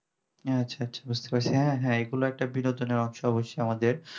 হ্যাঁ আচ্ছা আচ্ছা বুঝতে পারছি হা হা এগুলো তো বিনোদনের অংশ আমাদের